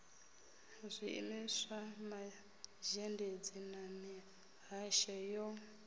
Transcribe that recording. zwiimiswa mazhendedzi na mihasho yo